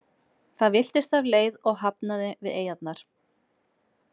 Það villtist af leið og hafnaði við eyjarnar.